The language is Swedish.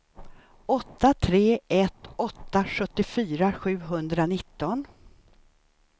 åtta tre ett åtta sjuttiofyra sjuhundranitton